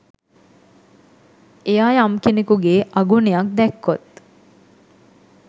එයා යම් කෙනකුගේ අගුණයක් දැක්කොත්